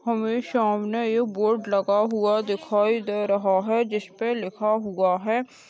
हमे सामने एक बोर्ड लगा हुआ दिखाई दे रहा है जिस पे लिखा हुआ है।